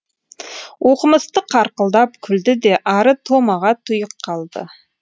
оқымысты қарқылдап күлді де ары томаға тұйық қалды